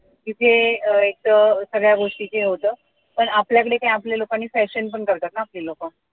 तिथे अं एक सगळ्या गोष्टीच हे होत पण आपल्याकडे काय आपल्या लोकांनी fashion पण करतात न आपली लोक